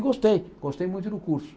E gostei, gostei muito do curso.